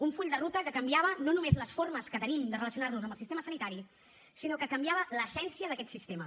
un full de ruta que canviava no només les formes que tenim de relacionar nos amb el sistema sanitari sinó que canviava l’essència d’aquest sistema